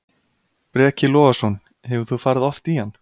Breki Logason: Hefur þú farið oft í hann?